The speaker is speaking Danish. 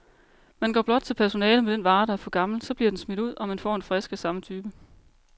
Man går blot til personalet med den vare, der er for gammel, så bliver den smidt ud, og man får en frisk af samme type.